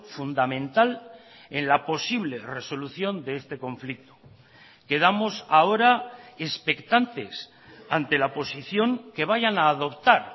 fundamental en la posible resolución de este conflicto quedamos ahora expectantes ante la posición que vayan a adoptar